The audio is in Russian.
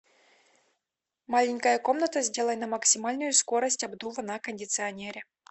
маленькая комната сделай на максимальную скорость обдува на кондиционере